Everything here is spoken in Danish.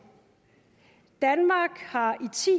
danmark har